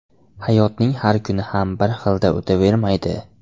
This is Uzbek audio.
Hayotning har kuni ham bir xilda o‘tavermaydi.